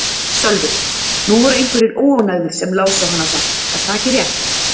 Sölvi: Nú voru einhverjir óánægðir sem lásu hana samt, er það ekki rétt?